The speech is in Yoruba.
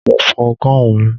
Mo fọ gáun mi.